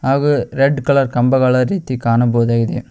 ಹಾಗೂ red colour ಕಂಬಗಳ ರೀತಿ ಕಾಣಬಹುದಾಗಿದೆ.